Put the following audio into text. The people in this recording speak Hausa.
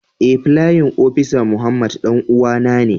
Eh playin opisa Muhammad danuwan na ne.